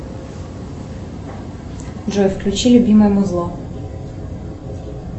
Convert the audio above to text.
джой включи любимое музло